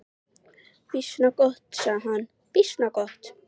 Býsna gott, sagði hann, býsna gott.